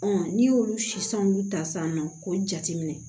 n'i y'olu sisi ta sisan nɔ k'o jateminɛ